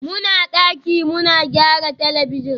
muna daki muna gyaran talabijin